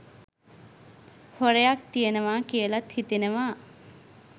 හොරයක් තියනවා කියලත් හිතෙනවා.